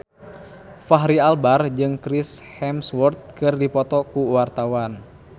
Fachri Albar jeung Chris Hemsworth keur dipoto ku wartawan